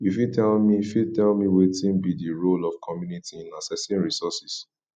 you fit tell me fit tell me wetin be di role of community in accessing resources